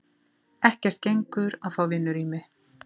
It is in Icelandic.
Ekkert gengur að fá vinnurými.